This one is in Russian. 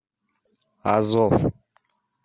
азов